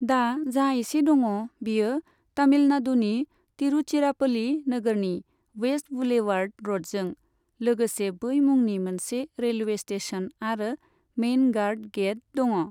दा जा इसे दङ' बियो तमिलनाडुनि तिरुचिरापल्ली नोगोरनि वेस्ट बुलेवार्ड र'डजों लोगोसे बै मुंनि मोनसे रेलवे स्टेसन आरो मेइन गार्ड गेट दङ।